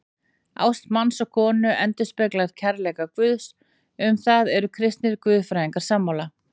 Ást manns og konu endurspeglar kærleika Guðs, um það eru kristnir guðfræðingar sammála.